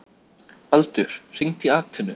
Baldur, hringdu í Atenu.